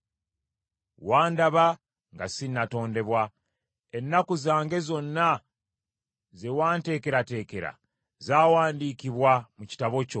Wandaba nga si natondebwa. Ennaku zange zonna ze wanteekerateekera zawandiikibwa mu kitabo kyo.